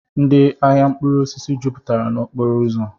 Ndị ahịa mkpụrụosisi jupụtara n'okporoụzọ